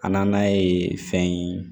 A nan'a ye fɛn ye